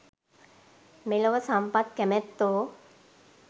මෙලොව සම්පත් කැමැත්තෝ